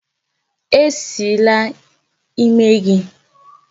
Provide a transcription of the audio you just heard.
E Sila ímé gị!